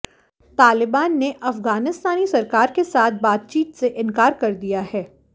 तालिबान ने अफगानिस्तानी सरकार के साथ बातचीत से इंकार कर दिया है